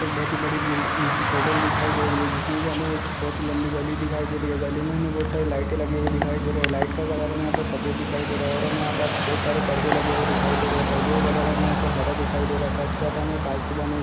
बहुत ही बड़ी बिल होटल दिखाई दे रही हैं जिसमे की हमें एक बहुत लम्बी गली दिखाई दे रही है | गली में हमे बहुत सारी लाइटे लगी हुए दिखाई दे रही है लाइट का कलर में यहाँ पे सफ़ेद दिखाई दे रहा हैं और हमे यहाँ पर बहुत सारे पर्दे लगे हुए दिखाई दे रहे पर्दे के कलर हमे हरा दिखाई दे रहा है। साथ ही साथ हमें यहाँ काँच की बनी --